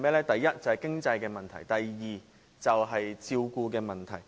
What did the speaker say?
第一，經濟問題；及第二，照顧問題。